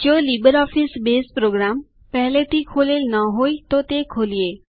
જો LibreOffice Base program પેહ્લેથી ખોલેલ ના હોય તો તે ખોલીએ